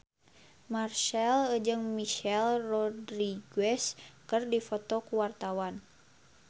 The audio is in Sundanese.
Marchell jeung Michelle Rodriguez keur dipoto ku wartawan